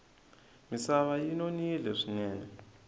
misava yi nonile swinene